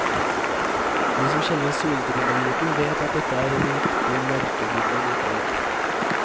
De som kjenner solbrillemoten, vet at dette er en riktig merkebrille likevel.